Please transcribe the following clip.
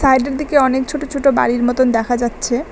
সাইডের দিকে অনেক ছোট ছোট বাড়ির মতন দেখা যাচ্ছে।